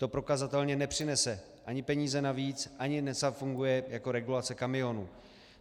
To prokazatelně nepřinese ani peníze navíc, ani nezafunguje jako regulace kamionů.